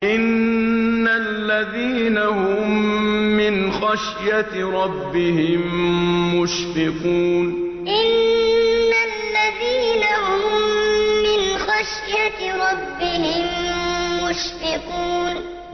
إِنَّ الَّذِينَ هُم مِّنْ خَشْيَةِ رَبِّهِم مُّشْفِقُونَ إِنَّ الَّذِينَ هُم مِّنْ خَشْيَةِ رَبِّهِم مُّشْفِقُونَ